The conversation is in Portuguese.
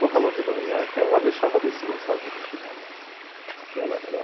Porra louca, ela deixava a Dersi Gonçalves no chinelo. Aquela era